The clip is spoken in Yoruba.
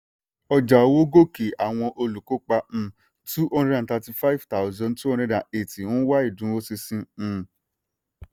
ọjà owó gòkè àwọn olùkópa um two hundred and thirty five thousand two hundred and eight ń wá ìdúróṣinṣin. um